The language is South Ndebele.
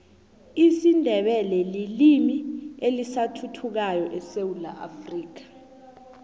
isindebele lilimi elisathuthukako esewula afrika